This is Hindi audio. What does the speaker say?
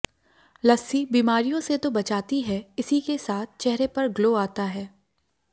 लस्सी बीमारियों से तो बचाती है इसी के साथ चेहरे पर ग्लो आता है